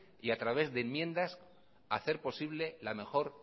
y a través de enmiendas hacer posible la mejor